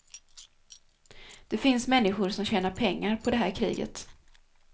Det finns människor som tjänar pengar på det här kriget.